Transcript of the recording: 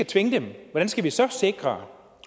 tvinge dem hvordan skal vi så sikre